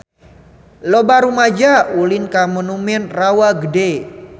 Loba rumaja ulin ka Monumen Rawa Gede